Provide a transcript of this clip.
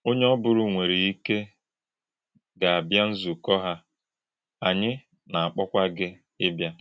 Ọ̀nyè̄ ọ́bụ̀rù̄ nwèrè̄ íkè̄ gà - àbìá̄ ǹzukọ̄ hà̄, ànyị̄ nà - àkpọ̄kwà̄ gị̣ ị́bìá̄.